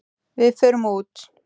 Við förum út.